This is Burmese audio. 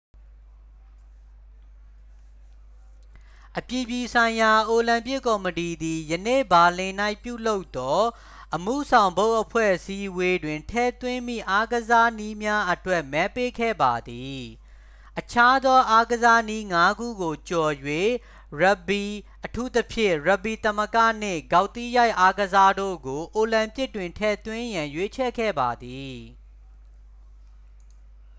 အပြည်ပြည်ဆိုင်ရာအိုလံပစ်ကော်မတီသည် ယနေ့ ဘာလင်၌ပြုလုပ်သော အမှုဆောင်ဘုတ်အဖွဲ့အစည်းအဝေးတွင် ထည့်သွင်းမည့်အားကစားနည်းများအတွက် မဲပေးခဲ့ပါသည် အခြားသောအားကစားနည်းငါးခုကိုကျော်၍ ရပ်ဂ်ဘီ အထူးသဖြင့် ရပ်ဂ်ဘီသမဂ္ဂ နှင့် ဂေါက်သီးရိုက်အားကစားတို့ကို အိုလံပစ်တွင်ထည့်သွင်းရန် ရွေးချယ်ခဲ့ပါသည်